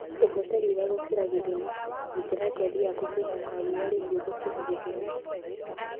Ndũgote riũa gũkĩra gĩthimi: Gitĩra ngothi yaku kumana na riũa rĩhiũ gũkĩra gĩthimi.